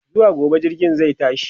zuwa gobe jirgin zai tashi